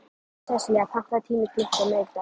Sesselía, pantaðu tíma í klippingu á miðvikudaginn.